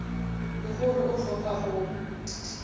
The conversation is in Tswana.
le gore o tlhopha go